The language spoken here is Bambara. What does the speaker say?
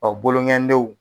bolo ŋɛni denw